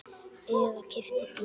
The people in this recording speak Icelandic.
Eða keypti bíl.